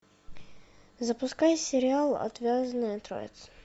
запускай сериал отвязная троица